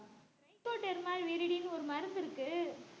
trichoderma viride ஒரு மருந்து இருக்கு